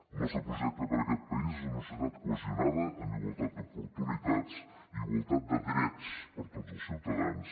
el nostre projecte per a aquest país és una societat cohesionada amb igualtat d’oportunitats i igualtat de drets per a tots els ciutadans